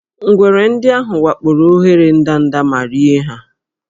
Ngwere ndị ahụ wakporo óghéré ndanda ma rie ha